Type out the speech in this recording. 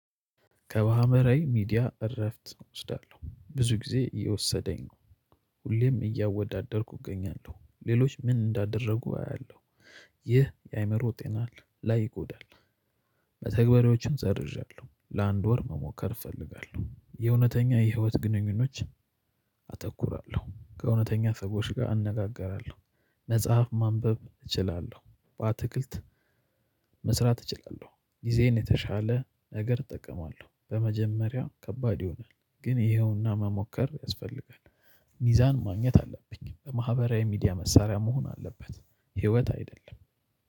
ከማህበራዊ ሚዲያ እረፍት እወስዳለሁ ብዙ ጊዜ የወሰደኝ ሁሌም እያወዳደርኩ እገኛለሁ ሌሎች ምን እንዳደረጉ አያለሁ ይህ የአእምሮ ጤና ላይ ይጎዳል። መተግበሪያዎችን ሰርዣለሁ ለአንድ ወር መሞከር እፈልጋለሁ የእውነተኛ የህይወት ግንኙነቶች አተኩራለሁ ከእውነተኛ ሰዎች ጋር አነጋገራለሁ። መጽሐፍ ማንበብ እችላለሁ በአትክልት መስራት እችላለሁ ጊዜዬን የተሻለ ነገር እጠቀማለሁ በመጀመሪያው ከባድ ይሆናል ግን ይሄውና መሞከር ያስፈልጋል። ሚዛን ማግኘት አለብኝ በማህበራዊ ሚዲያ መሳሪያ መሆን አለበት ህይወት አይደለም